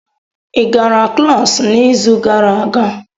Ị gara klas n'izu gara aga?